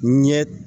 N ye